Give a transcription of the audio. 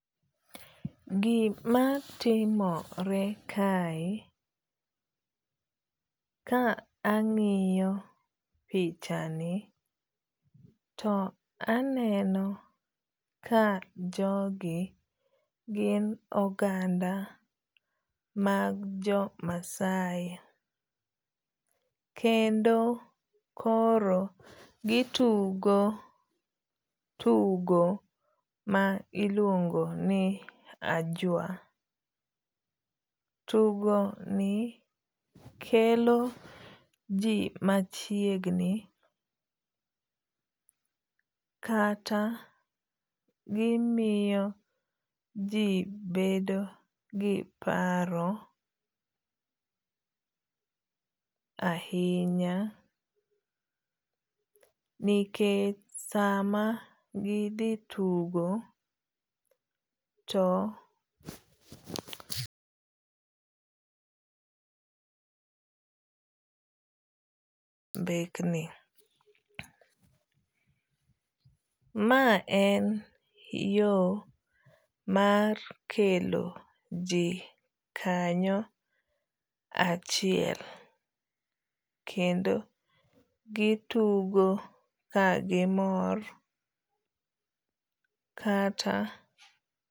Gima timore kae ka ang'iyo pichani to aneno ka jogi gin oganda mag jo Maasai. Kendo koro gitugo tugo ma iluongo ni ajua. Tugo ni kelo ji machiegni kata gimiyo ji bedo gi paro ahinya nikech sama gidhi tugo to [Pause} mbekni. Ma en yo mar kelo ji kanyo achiel kendo gitugo kagimor kata.